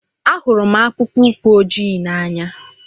Ahụrụ m akpụkpọ ụkwụ ojii n'anya.